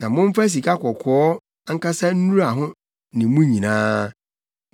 Na momfa sikakɔkɔɔ ankasa nnura ho ne mu nyinaa.